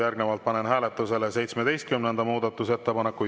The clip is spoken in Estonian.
Järgnevalt panen hääletusele 17. muudatusettepaneku.